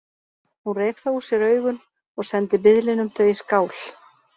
Hún reif þá úr sér augun og sendi biðlinum þau í skál.